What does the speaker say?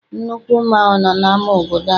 Nnukwu mmanwụ nọ n'ama obodo anyị.